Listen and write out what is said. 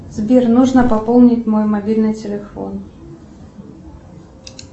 сбер нужно пополнить мой мобильный телефон